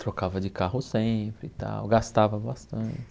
Trocava de carro sempre e tal, gastava bastante